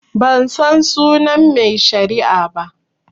Bansan sunan mai shari'ar ba